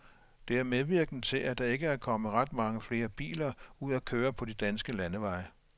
Det er medvirkende til, at der ikke er kommet ret mange flere biler ud at køre på de danske landeveje.